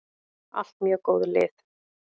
Allt mjög góð lið.